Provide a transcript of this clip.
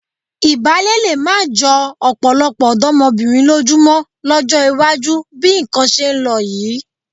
Ìbálé lé má jọ ọ̀pọ̀lọpọ̀ ọ̀dọ́mọbìnrin lójú mọ́ lọ́jọ́ iwájú bí nǹkan ṣe ń lọ yìí.